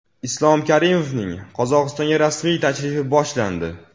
Islom Karimovning Qozog‘istonga rasmiy tashrifi boshlandi.